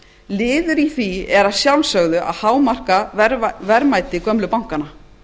liður í því er að sjálfsögðu að hámarka verðmæti gömlu bankanna